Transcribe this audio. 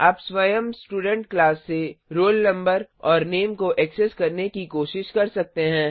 आप स्वयं student class से roll no और नामे को ऐक्सेस करने की कोशिश कर सकते हैं